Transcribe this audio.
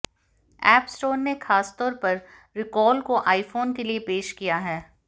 App Store ने खासतौर पर रिकॉल को आईफोन के लिए पेश किया है